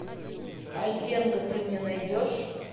айвенго ты мне найдешь